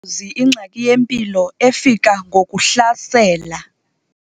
zi ingxaki yempilo efika ngokuhlasela.